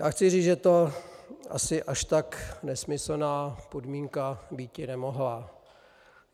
Já chci říct, že to asi až tak nesmyslná podmínka býti nemohla.